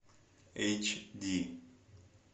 эйч ди